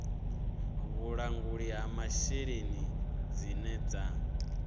vhulanguli ha masheleni dzine dza